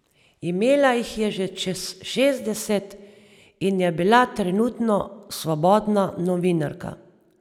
Imela jih je že čez šestdeset in je bila trenutno svobodna novinarka.